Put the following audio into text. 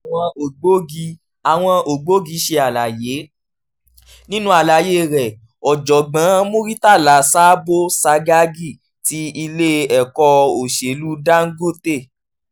àwọn ògbógi àwọn ògbógi ṣe àlàyé: nínú àlàyé rẹ̀ ọ̀jọ̀gbọ́n murtala sabo sagagi ti ilé ẹ̀kọ́ òṣèlú dangote